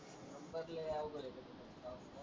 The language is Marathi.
नंबर लय अवघड आहे .